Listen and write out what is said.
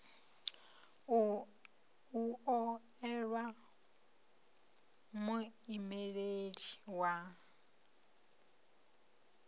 u o elwa muimeleli wa